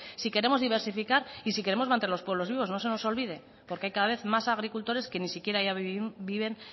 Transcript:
si queremos diversificar y si queremos mantener los pueblos vivos no se nos olvide porque cada vez hay más agricultores que ni siquiera ya viven